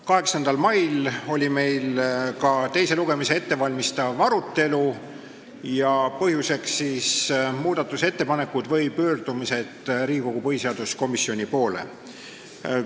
8. mail oli meil teist lugemist ette valmistav arutelu ja selle põhjuseks olid muudatusettepanekud või pöördumised Riigikogu põhiseaduskomisjoni poole.